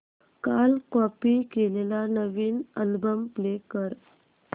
काल कॉपी केलेला नवीन अल्बम प्ले कर